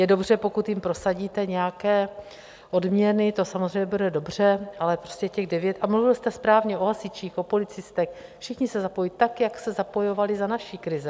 Je dobře, pokud jim prosadíte nějaké odměny, to samozřejmě bude dobře, ale prostě těch devět - a mluvil jste správně o hasičích, o policistech, všichni se zapojí, tak jak se zapojovali za naší krize.